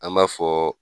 An b'a fɔ